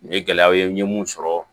Nin ye gɛlɛyaw ye n ye mun sɔrɔ